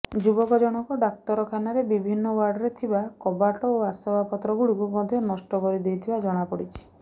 ଯୁବକ ଜଣକ ଡାକ୍ତରଖାନାର ବିଭିନ୍ନ ୱାର୍ଡରେ ଥିବା କବାଟ ଓ ଆସବାବପତ୍ର ଗୁଡିକୁ ମଧ୍ୟ ନଷ୍ଟ କରିଦେଇଥିବା ଜଣାପଡିଛି